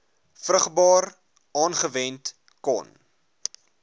vrugbaar aangewend kon